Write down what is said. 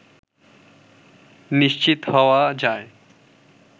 নিশ্চিত হওয়া যায়